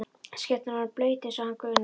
Skyrtan orðin blaut eins og hana grunaði.